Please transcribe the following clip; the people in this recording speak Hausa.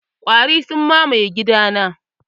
Ƙwari sun mamaye gidana.